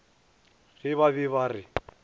ge ba be ba re